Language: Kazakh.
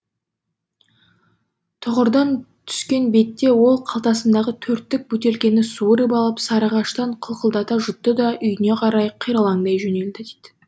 тұғырдан түскен бетте ол қалтасындағы төрттік бөтелкені суырып ап сарыағаштан қылқылдата жұтты да үйіне қарай қиралаңдай жөнелді